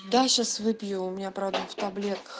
да сейчас выпью меня продуктов